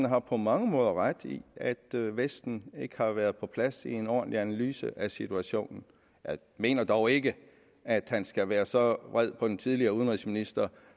har på mange måder ret i at vesten ikke har været på plads i en ordentlig analyse af situationen jeg mener dog ikke at han skal være så vred på en tidligere udenrigsminister